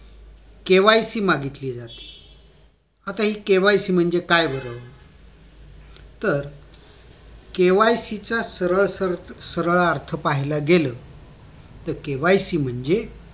KYC मागितले जाते तर आता हि KYC म्हनजे काय बर तर KYC च सरळ अर्थ पाहायला गेलं तर KYC म्हणजे